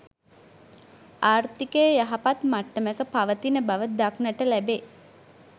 ආර්ථිකය යහපත් මට්ටමක පවතින බව දක්නට ලැබේ.